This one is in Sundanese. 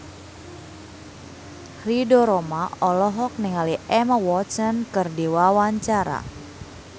Ridho Roma olohok ningali Emma Watson keur diwawancara